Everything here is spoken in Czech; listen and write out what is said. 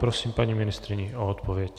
Prosím paní ministryni o odpověď.